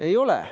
Ei ole.